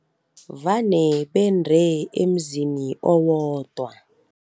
Vane bendre emzini owodwa.